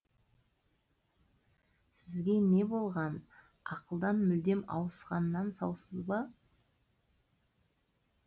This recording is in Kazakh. сізге не болған ақылдан мүлдем ауысқаннан саусыз ба